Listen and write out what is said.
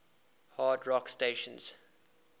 hard rock stations